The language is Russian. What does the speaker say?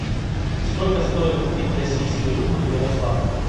сколько стоит купить российский рубль в ярославле